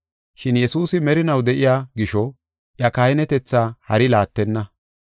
Shin Yesuusi merinaw de7iya gisho iya kahinetetha hari laattenna.